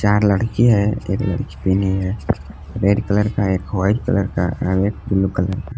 चार लड़की है एक लड़की पीनी है रेड कलर का एक वाइट कलर का ब्लू कलर का।